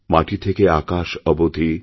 মাটি থেকে আকাশ অবধি